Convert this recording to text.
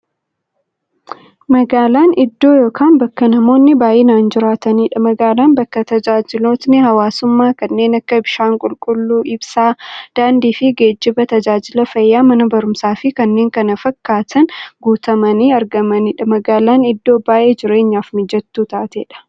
Magaalan iddoo yookiin bakka namoonni baay'inaan jiraataniidha. Magaalan bakka taajajilootni hawwaasummaa kanneen akka; bishaan qulqulluu, ibsaa, daandiifi geejjiba, taajajila fayyaa, Mana baruumsaafi kanneen kana fakkatan guutamanii argamaniidha. Magaalan iddoo baay'ee jireenyaf mijattuu taateedha.